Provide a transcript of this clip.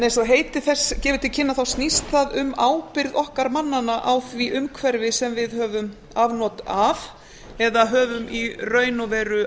eins og heiti þess gefur til kynna snýst það um ábyrgð okkar mannanna á því umhverfi sem við höfum afnot af eða höfum í raun og veru